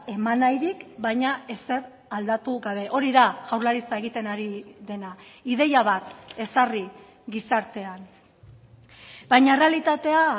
eman nahirik baina ezer aldatu gabe hori da jaurlaritza egiten ari dena ideia bat ezarri gizartean baina errealitatea